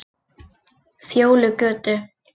Fjólugötu